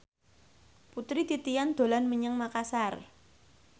Putri Titian dolan menyang Makasar